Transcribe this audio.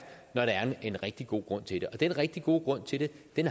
når der er en rigtig god grund til det og den rigtig gode grund til det